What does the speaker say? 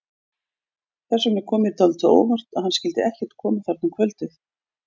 Þess vegna kom mér dálítið á óvart að hann skyldi ekkert koma þarna um kvöldið.